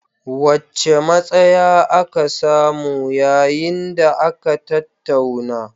Wacce matsaya aka samu yayin da aka tattauna?